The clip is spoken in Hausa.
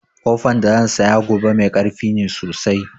Ƙofan da zan saya gobe mai karfi ne sosai